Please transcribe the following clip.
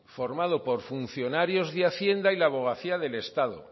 formado por funcionarios de hacienda y la abogacía del estado